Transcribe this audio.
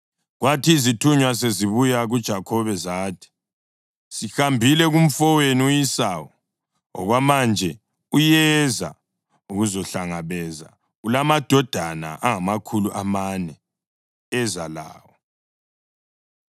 Kwathi izithunywa sezibuya kuJakhobe zathi, “Sihambile kumfowenu u-Esawu, okwamanje uyeza ukuzokuhlangabeza, ulamadoda angamakhulu amane eza lawo.”